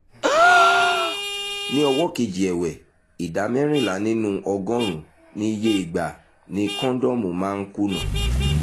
ní ọwọ́ kejì ẹ̀wẹ̀ ìdá mẹ́rìnlá nínú ọgọ́rùn-ún ni iye ìgbà ni kọ́ńdọ́ọ̀mù máa ń kùnà